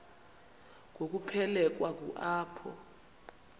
ngokuphelekwa ngu apho